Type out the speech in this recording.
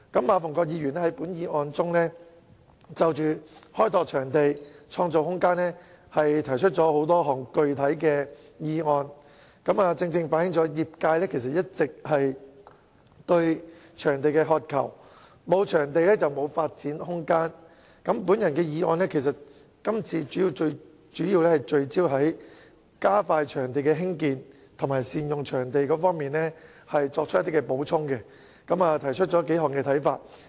馬逢國議員在本議案中就"開拓場地，創造空間"提出多項具體建議，正正反映業界一直以來對場地的渴求，沒有場地便沒有發展空間；而我的修正案主要聚焦在加快場地興建、善用場地上作補充，並提出數點看法。